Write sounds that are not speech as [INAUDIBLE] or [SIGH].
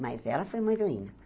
Mas ela foi muito. [UNINTELLIGIBLE]